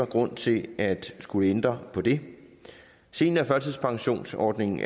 grund til at skulle ændre på det seniorførtidspensionsordningen